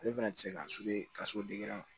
Ale fana tɛ se ka ka so